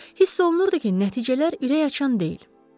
Hiss olunurdu ki, nəticələr ürəkaçan deyil.